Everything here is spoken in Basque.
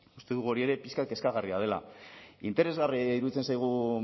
uste dugu hori ere pixka bat kezkagarria dela interesgarria iruditzen zaigu